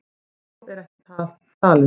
Og er þá ekki allt talið.